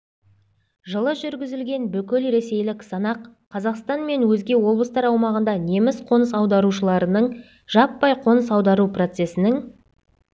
жылы жүргізілген бүкілресейлік санақ қазақстан мен өзге облыстар аумағында неміс қоныс аударушыларының жаппай қоныс аудару процесінің